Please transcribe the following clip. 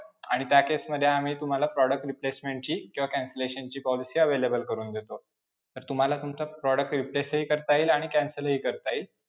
आणि त्या case मध्ये आम्ही तुम्हाला product replacement ची किंवा cancellation ची policy available करून देतो. तर तुम्हाला तुमचा product replace हि करता येईल आणि cancel हि करता येईल.